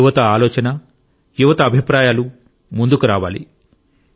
యువతఆలోచన యువతఅభిప్రాయాలు ముందుకు రావాలి